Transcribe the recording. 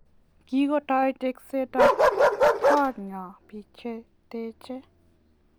Kikutou teksetab koot nyo biik che techei.